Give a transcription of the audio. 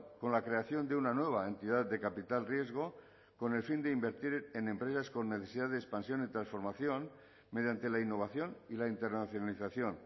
con la creación de una nueva entidad de capital riesgo con el fin de invertir en empresas con necesidad de expansión y transformación mediante la innovación y la internacionalización